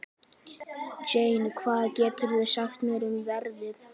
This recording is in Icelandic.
Jane, hvað geturðu sagt mér um veðrið?